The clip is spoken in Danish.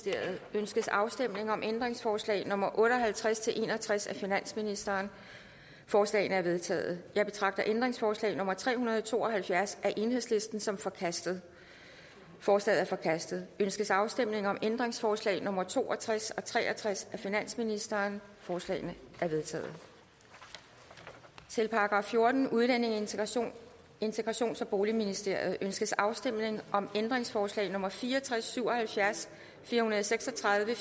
ønskes afstemning om ændringsforslag nummer otte og halvtreds til en og tres af finansministeren forslagene er vedtaget jeg betragter ændringsforslag nummer tre hundrede og to og halvfjerds af el som forkastet forslaget er forkastet ønskes afstemning om ændringsforslag nummer to og tres og tre og tres af finansministeren forslagene er vedtaget til § fjortende udlændinge integrations integrations og boligministeriet ønskes afstemning om ændringsforslag nummer fire og tres til syv og halvfjerds fire hundrede og seks og tredive